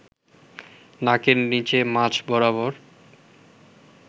নাকের নিচে মাঝ বরাবর